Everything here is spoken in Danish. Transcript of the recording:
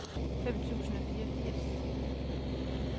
fem tusind og fireogfirs